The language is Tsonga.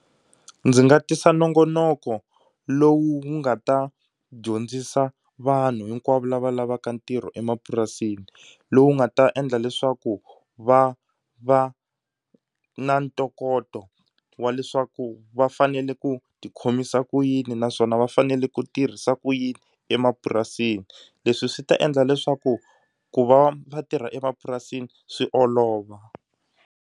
Ndzi nga tisa nongonoko lowu wu nga ta dyondzisa vanhu hinkwavo lava lavaka ntirho emapurasini lowu nga ta endla leswaku va va na ntokoto wa leswaku va fanele ku tikhomisa ku yini naswona va fanele ku tirhisa ku yini emapurasini. Leswi swi ta endla leswaku ku va va tirha emapurasini swi olova.